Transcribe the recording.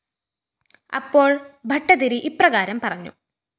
അപ്പോള്‍ ഭട്ടതിരി ഇപ്രകാരം പറഞ്ഞു